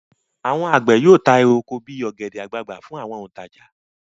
Àwọn àgbẹ̀ yóò ta èrè oko bí i ọ̀gẹ̀dẹ̀ àgbagbà fún àwọn òǹtajà.